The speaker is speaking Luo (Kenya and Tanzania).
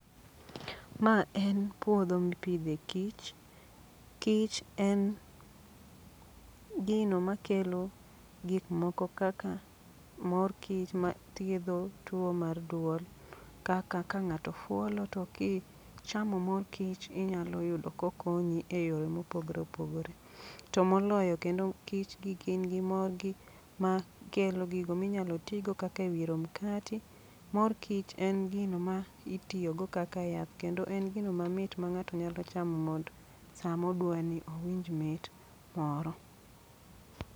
Ma en puodho mipidhe kich, kich en gino makelo gik moko kaka mor kich ma thiedho tuo mar duol. Kaka ka ng'ato fuolo to ki chamo mor kich inyalo yudo ko konyi e yore mopogore opogore. To moloyo kendo kich gi gin gi mogi ma kelo gigo minyalo tigo kaka e wiro mkati. Mor kich en gino ma itiyogo kaka yath, kendo en gino mamit ma ng'ato nyalo chamo mond sa modwani owinj mit moro.